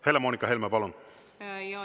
Helle-Moonika Helme, palun!